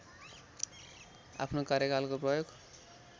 आफ्नो कार्यकालको प्रयोग